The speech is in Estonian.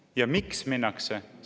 Ja miks minnakse?